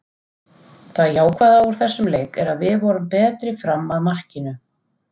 Það jákvæða úr þessum leik er að við vorum betri fram að markinu.